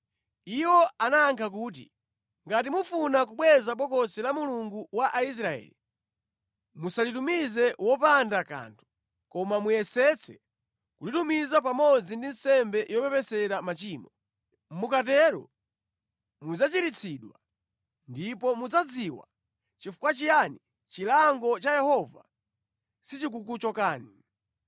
Iwo anayankha kuti, “Ngati mufuna kubweza Bokosi la Mulungu wa Israeli, musalitumize wopanda kanthu, koma muyesetse kulitumiza pamodzi ndi nsembe yopepesera machimo. Mukatero mudzachiritsidwa, ndipo mudzadziwa chifukwa chiyani chilango cha Yehova sichikukuchokani.”